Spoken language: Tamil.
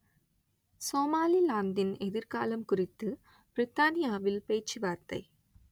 சோமாலிலாந்தின் எதிர்காலம் குறித்து பிரித்தானியாவில் பேச்சுவார்த்தை